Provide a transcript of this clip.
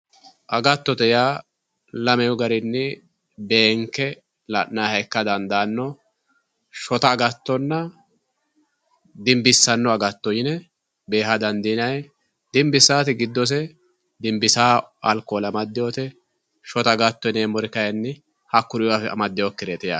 agattote yaa lamu garinni beenke la'nayiiha ikka dandaanno shota agattonna dinbissawo agatto yine beeha dandiinayi dinbissaati giddose dinbisaare amaddeyoote shota agatto giddose hakkuri diamaddeyoote yaate